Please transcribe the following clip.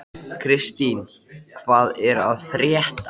Hún var mikið rædd næstu áratugi.